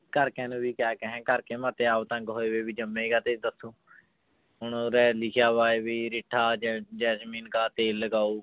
ਘਰਦਿਆਂ ਨੂੰ ਵੀ ਕਿਆ ਕਹੇ ਘਰ ਕੇ ਮੇਰੇ ਤੇ ਆਪ ਤੰਗ ਹੋਏ ਹੋਏ ਵੀ ਜੰਮੇ ਕਾਹਤੇ ਇੱਧਰ ਤੂੰ ਹੁਣ ਉਰੇ ਲਿਖਿਆ ਵਾ ਵੀ ਰਿੱਠਾ ਜੈ ਜੈਸਮੀਨ ਕਾ ਤੇਲ ਲਗਾਓ